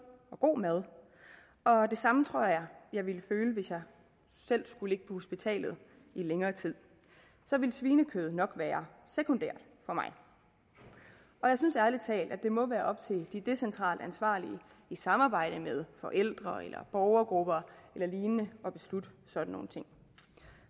og god mad og og det samme tror jeg at jeg ville føle hvis jeg selv skulle ligge på hospitalet i længere tid så ville svinekød nok være sekundært for mig jeg synes ærlig talt at det må være op til de decentralt ansvarlige i samarbejde med forældre eller borgergrupper eller lignende at beslutte sådan nogle ting